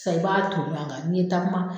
San e be ton ɲuan kan ni ye takuma